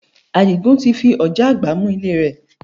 Àdìgún ti fi ọ̀já àgbá mú ilé rẹ̀